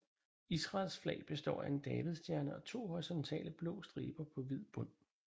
Israels flag består af en davidsstjerne og to horisontale blå striber på hvid bund